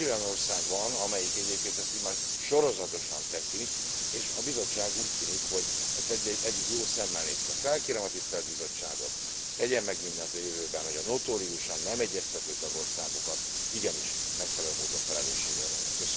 Négy olyan ország van, amelyik egyébként ezt immár sorozatosan teszi, és a Bizottság, úgy tűnik, hogy ezt eddig jó szemmel nézte. Felkérem a tisztelt Bizottságot, tegyen meg mindent a jövőben, hogy a notóriusan nem egyeztető tagországokat igenis megfelelő módon felelősségre vonja.